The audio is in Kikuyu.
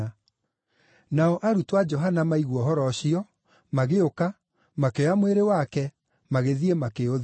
Nao arutwo a Johana maigua ũhoro ũcio, magĩũka, makĩoya mwĩrĩ wake, magĩthiĩ, makĩũthika.